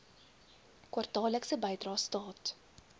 kwartaallikse bydrae staat